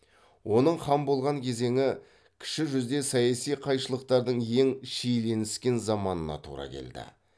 оның хан болған кезеңі кіші жүзде саяси қайшылықтардың ең шиеленіскен заманына тура келді